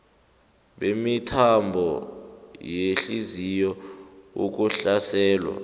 bemithambo yehliziyo ukuhlaselwa